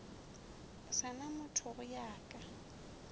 sa na mothogo ya ka